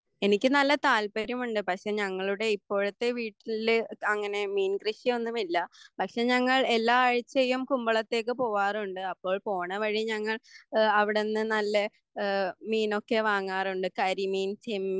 എനിക്ക് നല്ല താല്പര്യമുണ്ട് പക്ഷെ ഞങ്ങളുടെ ഇപ്പോഴത്തെ വീട്ടില് അങ്ങിനെ മീൻകൃഷിയൊന്നുമില്ല പക്ഷെ ഞങ്ങൾ എല്ലാ ആഴ്ചയും കുമ്പളത്തേക്ക് പോവാറുണ്ട് അപ്പോൾ പോണവഴി ഞങ്ങൾ അവിടെന്നു നല്ല മീനൊക്കെ വാങ്ങാറുണ്ട് കരിമീൻ ചെമ്മീൻ